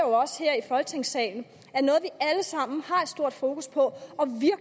også her i folketingssalen har et stort fokus på